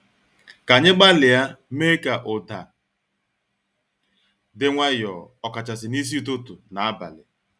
Ka anyị gbalịa mee ka ụda di nwayo, ọkachasị n'isi ụtụtụ na abalị.